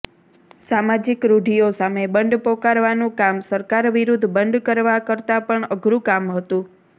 સામાજિક રૂઢિઓ સામે બંડ પોકારવાનું કામ સરકાર વિરુદ્ધ બંડ કરવા કરતા પણ અધરૂ કામ હતું